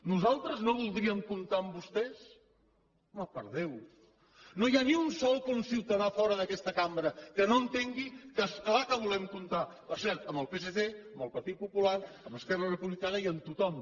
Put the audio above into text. nosaltres no voldríem comptar amb vostès home per déu no hi ha ni un sol conciutadà fora d’aquesta cambra que no entengui que és clar que volem comptar per cert amb el psc amb el partit popular amb esquerra republicana i amb tothom